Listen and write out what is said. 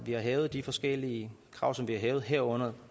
har hævet de forskellige krav som vi har hævet herunder